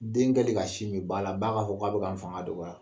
Den kɛlen ka si min ba la, ba k'a fɔ k'a bɛ ka n fanga dɔgɔya.